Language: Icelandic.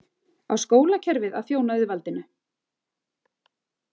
Á skólakerfið að þjóna auðvaldinu?